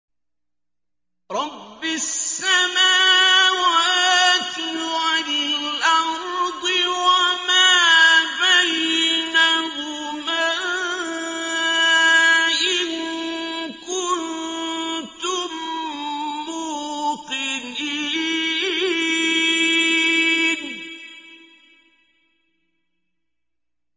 رَبِّ السَّمَاوَاتِ وَالْأَرْضِ وَمَا بَيْنَهُمَا ۖ إِن كُنتُم مُّوقِنِينَ